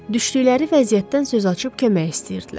düşdükləri vəziyyətdən söz açıb kömək istəyirdilər.